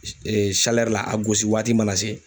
la a gosi waati mana se.